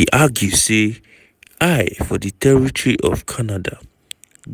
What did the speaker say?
e argue say trump eye for di territory of canada